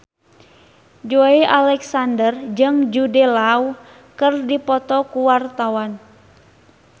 Joey Alexander jeung Jude Law keur dipoto ku wartawan